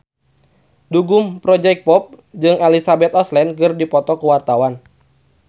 Gugum Project Pop jeung Elizabeth Olsen keur dipoto ku wartawan